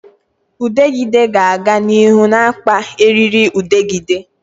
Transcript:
Udegịde ga-aga n'ihu na-akpa eririudegide